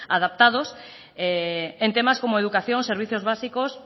adaptados en temas como educación servicios básicos